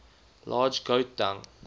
large goat dung